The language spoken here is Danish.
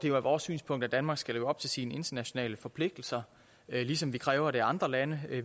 er vores synspunkt at danmark skal leve op til sine internationale forpligtelser ligesom vi kræver det andre lande